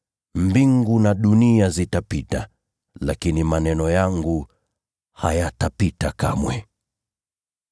Mbingu na nchi zitapita, lakini maneno yangu hayatapita kamwe.